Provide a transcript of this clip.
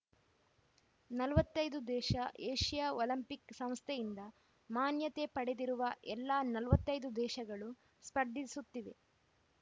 ನಲವತ್ತ್ ಐದು ದೇಶ ಏಷ್ಯಾ ಒಲಿಂಪಿಕ್‌ ಸಂಸ್ಥೆಯಿಂದ ಮಾನ್ಯತೆ ಪಡೆದಿರುವ ಎಲ್ಲಾ ನಲವತ್ತ್ ಐದು ದೇಶಗಳು ಸ್ಪರ್ಧಿಸುತ್ತಿವೆ